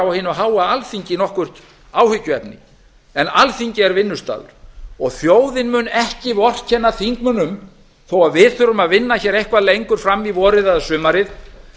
á hinu háa alþingi nokkurt áhyggjuefni en alþingi er vinnustaður og þjóðin mun ekki vorkenna þingmönnum þó við þurfum að vinna hér eitthvað lengur fram í vorið eða sumarið